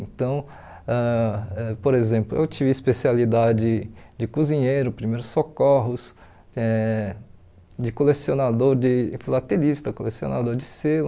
Então, ãh por exemplo, eu tive especialidade de cozinheiro, primeiros socorros, eh de colecionador, de filatelista, colecionador de selo.